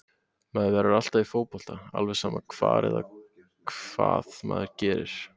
Maður verður alltaf í fótbolta alveg sama hvar eða hvað maður gerir.